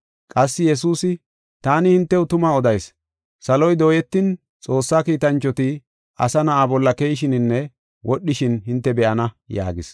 Qassi Yesuusi, “Taani hintew tuma odayis; saloy dooyetin, Xoossaa kiitanchoti Asa Na7aa bolla keyishininne wodhishin hinte be7ana” yaagis.